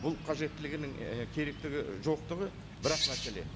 бұл қажеттілігінің і керектігі жоқтығы бір ақ мәселе